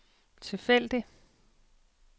tilfældig